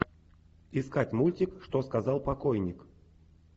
искать мультик что сказал покойник